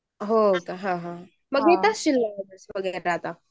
हो का हा हान